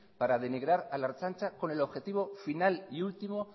para denigrar a la ertzaintza con el objetivo final y último